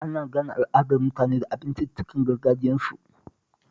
Ana gane al'adar mutane da abinciccikan gargajiyarsu